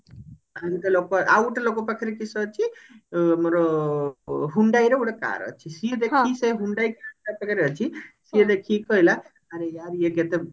ଲୋକ ଆଉ ଗୋଟେ ଲୋକ ପାଖରେ କିସ ଅଛି ଆମର hyundai ର ଗୋଟେ car ଅଛି ସିଏ ଦେଖିକି ସେ hyundai ଯାହା ପାଖରେ ଅଛି ସିଏ ଦେଖିକି କହିଲା ଆରେ यार ଇଏ କେତେ